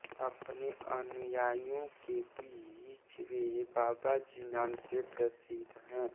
अपने अनुयायियों के बीच वे बाबाजी नाम से प्रसिद्ध है